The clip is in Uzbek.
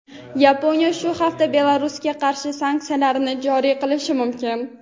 Yaponiya shu hafta Belarusga qarshi sanksiyalar joriy qilishi mumkin.